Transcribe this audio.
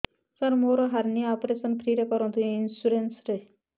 ସାର ମୋର hernia operation free ରେ କରନ୍ତୁ ଇନ୍ସୁରେନ୍ସ ରେ